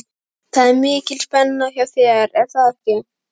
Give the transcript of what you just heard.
Það er mikil spenna hjá þér er það ekki?